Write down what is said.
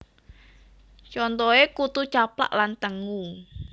Contoh e Kutu Caplak lan tengu